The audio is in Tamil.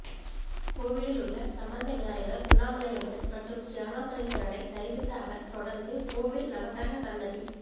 கோவிலில் உள்ள சம்பந்த விநாயகர் உண்ணாமுலையம்மன் மற்றும் ஸ்ரீஅருணாசலேஸ்வரரை தரிசித்த அவர் தொடர்ந்து கோவில் நவக்கிரக சன்னதி